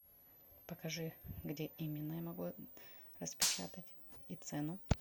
покажи где именно я могу распечатать и цену